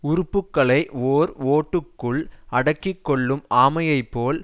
உறுப்புகளை ஓர் ஓட்டுக்குள் அடக்கி கொள்ளும் ஆமையை போல்